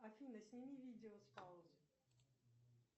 афина сними видео с паузы